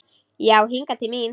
Já hingað til mín.